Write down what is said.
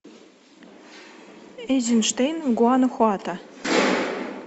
эйзенштейн в гуанахуато